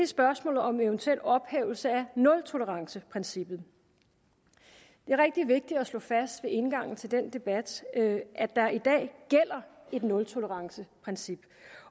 spørgsmålet om en eventuel ophævelse af nultoleranceprincippet det er rigtig vigtigt at slå fast ved indgangen til den debat at der i dag gælder et nultoleranceprincip